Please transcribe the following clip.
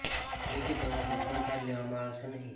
એટલે કે તેના કોઇપણ ચાર્જ લેવામાં આવશે નહીં